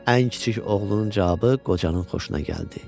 Ən kiçik oğlunun cavabı qocanın xoşuna gəldi.